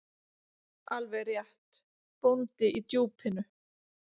Alveg rétt: Bóndi í Djúpinu.